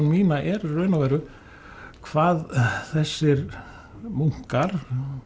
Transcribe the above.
mína er í raun og veru hvað þessir munkar